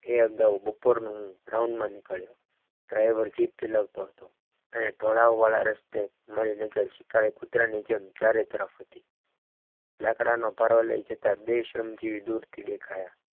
બપોરનું round માં નીકળ્યો driver jeep ચલાવતો હતો અને ઢોળાવ વાળા રસ્તે મણીનગર સીકરે કૂતરાની જેમ ચારે તરફ હત લાકડાનું ભારો લઈ બે શ્રમ જેવી દૂરથી દેખાયા.